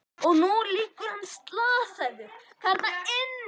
Og nú liggur hann slasaður þarna inni.